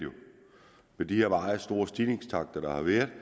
med de her meget store stigningstakter der har været